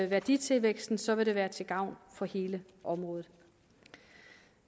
værditilvæksten så vil det være til gavn for hele området